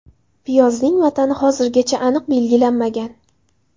Piyozning vatani hozirgacha aniq belgilanmagan.